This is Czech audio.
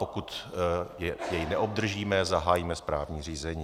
Pokud jej neobdržíme, zahájíme správní řízení.